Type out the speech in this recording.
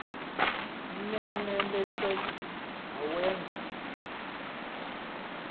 l nelenatriki wawenza